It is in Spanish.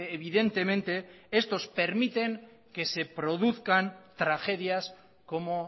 evidentemente estos permiten que se produzcan tragedias como